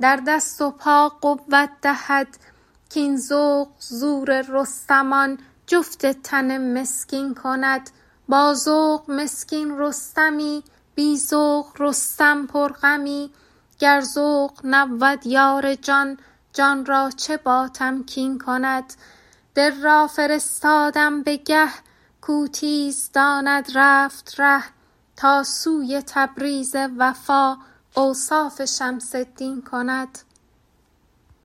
در دست و پا قوت دهد کاین ذوق زور رستمان جفت تن مسکین کند با ذوق مسکین رستمی بی ذوق رستم پرغمی گر ذوق نبود یار جان جان را چه باتمکین کند دل را فرستادم به گه کاو تیز داند رفت ره تا سوی تبریز وفا اوصاف شمس الدین کند